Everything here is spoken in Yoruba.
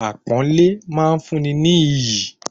Àpọ́nlẹ́ máa ń fún ni ní iyì